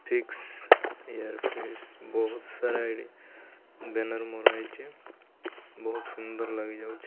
Fix air fix ବହୁତ ସାରା ଏଠି ବ୍ୟାନର ମରା ହେଇଚି ବହୁତ ସୁନ୍ଦର ଲାଗି ଯାଉଚି ।